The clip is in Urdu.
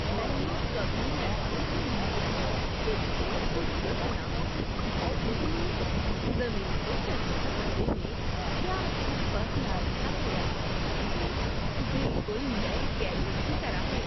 میں نے کبھی محسوس نہیں کیا کہ کھیت کو جوتنا بونے کے لیے زمین کو تیار کرنے میں کیا کچھ فرق لا سکتا ہے۔ یہ بالکل نئے کینوس کی طرح ہے!